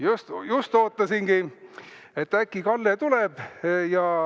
Jah, just ootasingi, et äkki Kalle tuleb.